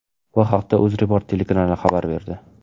Bu haqda UzReport telekanali xabar berdi .